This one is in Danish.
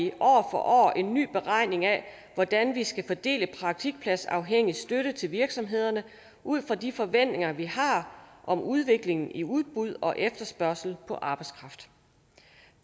for år en ny beregning af hvordan vi skal fordele praktikpladsafhængig støtte til virksomhederne ud fra de forventninger vi har om udviklingen i udbud og efterspørgsel på arbejdskraft